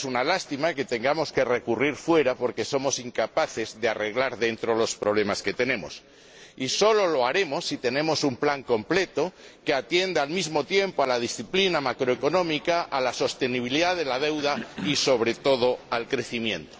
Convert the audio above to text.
Es una lástima que tengamos que recurrir al exterior porque somos incapaces de arreglar en el interior los problemas que tenemos, y solo lo haremos si tenemos un plan completo que atienda al mismo tiempo a la disciplina macroeconómica, a la sostenibilidad de la deuda y, sobre todo, al crecimiento.